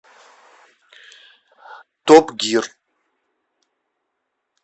топ гир